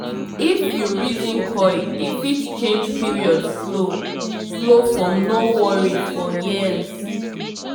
if you reason coil e fit change period flow-- flow-- for no worry for years